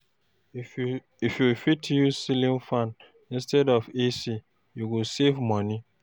If you fit, use ceiling fan instead of AC, e go save you money.